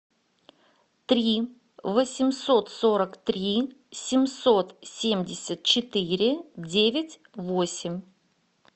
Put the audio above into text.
три восемьсот сорок три семьсот семьдесят четыре девять восемь